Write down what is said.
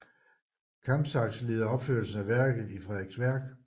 Kampsax leder opførelsen af værket i Frederiksværk